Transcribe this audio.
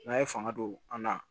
N'a ye fanga don an na